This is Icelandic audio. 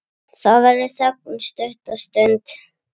Það verður þögn stutta stund.